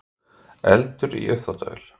Eldur í uppþvottavél